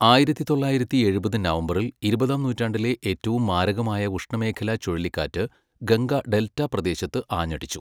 ആയിരത്തി തൊള്ളായിരത്തി എഴുപത് നവംബറിൽ, ഇരുപതാം നൂറ്റാണ്ടിലെ ഏറ്റവും മാരകമായ ഉഷ്ണമേഖലാ ചുഴലിക്കാറ്റ് ഗംഗ ഡെൽറ്റ പ്രദേശത്ത് ആഞ്ഞടിച്ചു.